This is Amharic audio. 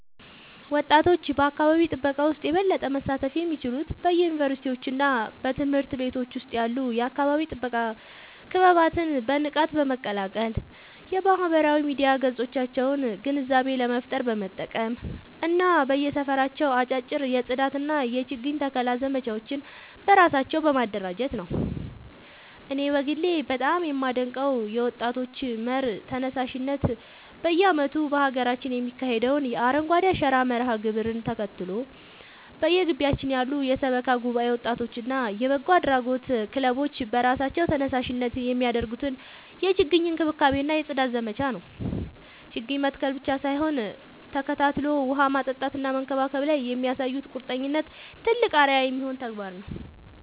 ወጣቶች በአካባቢ ጥበቃ ውስጥ የበለጠ መሳተፍ የሚችሉት በዩኒቨርሲቲዎችና በትምህርት ቤቶች ውስጥ ያሉ የአካባቢ ጥበቃ ክበባትን በንቃት በመቀላቀል፣ የማህበራዊ ሚዲያ ገጾቻቸውን ግንዛቤ ለመፍጠር በመጠቀም እና በየሰፈራቸው አጫጭር የጽዳትና የችግኝ ተከላ ዘመቻዎችን በራሳቸው በማደራጀት ነው። እኔ በግሌ በጣም የማደንቀው የወጣቶች መር ተነሳሽነት በየዓመቱ በሀገራችን የሚካሄደውን የአረንጓዴ አሻራ መርሃ ግብርን ተከትሎ፣ በየግቢያችን ያሉ የሰበካ ጉባኤ ወጣቶችና የበጎ አድራጎት ክለቦች በራሳቸው ተነሳሽነት የሚያደርጉትን የችግኝ እንክብካቤና የጽዳት ዘመቻ ነው። ችግኝ መትከል ብቻ ሳይሆን ተከታትሎ ውሃ ማጠጣትና መንከባከብ ላይ የሚያሳዩት ቁርጠኝነት ትልቅ አርአያ የሚሆን ተግባር ነው።